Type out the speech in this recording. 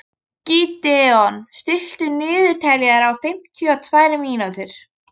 Gídeon, stilltu niðurteljara á fimmtíu og tvær mínútur.